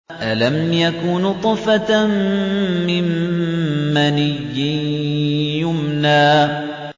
أَلَمْ يَكُ نُطْفَةً مِّن مَّنِيٍّ يُمْنَىٰ